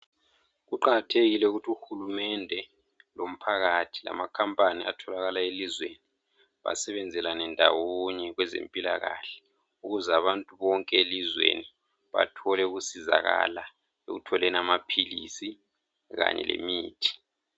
Kuqakathekile ukuthi uhulumende lomphakathi atholakala elizweni basebenzelane ndawonye kwezempilakahle ukuze abantu bonke elizweni bathole ukusizakala ekutholeni amapills kanye lemithi